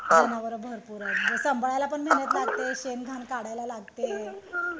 जनावर भरपूर आहेत संभाळायलापण मेहनत लागत शेण घाण काढलाय लागते